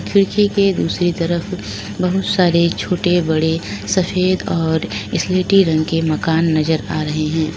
खिड़की के दूसरी तरफ बहोत सारे छोटे बड़े सफेद और स्लेटी रंग के मकान नजर आ रहे हैं।